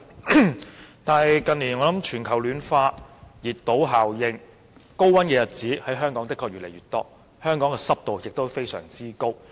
然而，鑒於近年全球暖化和熱島效應，香港高溫的日子越來越多，濕度也非常高。